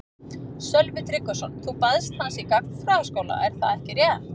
Sölvi Tryggvason: Þú baðst hans í gagnfræðaskóla er það ekki rétt?